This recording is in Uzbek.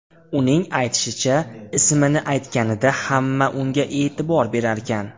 Uning aytishicha, ismini aytganida hamma unga e’tibor berarkan.